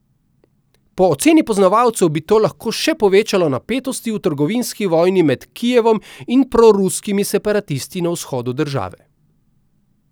Po oceni poznavalcev bi to lahko še povečalo napetosti v trgovinski vojni med Kijevom in proruskimi separatisti na vzhodu države.